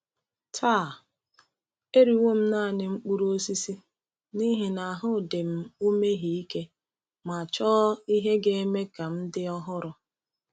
Taa, eriwo m naanị mkpụrụ osisi n’ihi na ahụ dị m umeghị ike ma chọọ ihe ga-eme m ka m dị ọhụrụ.